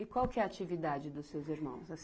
E qual que é a atividade dos seus irmãos?